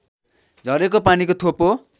झरेको पानीको थोपो